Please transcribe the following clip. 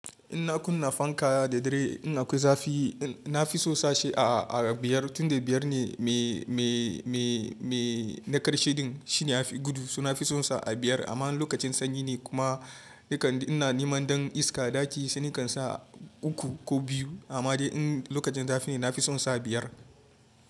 In na kuna fankaya da dare in akwai zafi, na fi son sashi a, a, a biyar tunda biyar ne me, me, me, me na ƙarshe din shine ya fi gudu. To na fi son sa a biyar amma in lokacin sanyi ne kuma nakan, ina neman dan iska a ɗaki sai nakan sa uku ko biyu amma dai in lokacin zafi ne na fi son sa biyar.